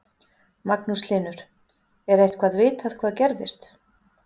Magnús Hlynur: Er eitthvað vitað hvað gerðist?